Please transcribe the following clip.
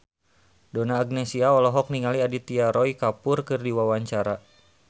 Donna Agnesia olohok ningali Aditya Roy Kapoor keur diwawancara